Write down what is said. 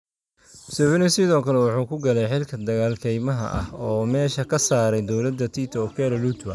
Museveni sidoo kale wuxuu ku galay xilka dagaal kaymaha ah oo meesha ka saaray dowladda Tito Okello Lutwa.